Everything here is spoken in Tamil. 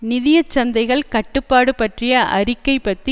நிதிய சந்தைகள் கட்டுப்பாடு பற்றிய அறிக்கைப் பத்தி